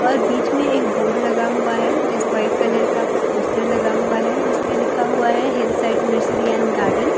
और बीच में एक बोर्ड लगा हुआ है जिस वाइट कलर का पोस्टर लगा हुआ है जिस पर लिखा हुआ है hill side misery and garden all kind --